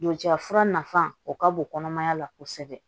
Doca fura nafan o ka bon kɔnɔmaya la kosɛbɛ